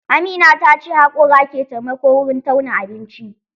Amina ta ce haƙora ke taimako wurin tauna abinci